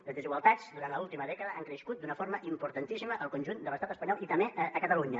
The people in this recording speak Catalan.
les desigualtats durant l’última dècada han crescut d’una forma importantíssima al conjunt de l’estat espanyol i també a catalunya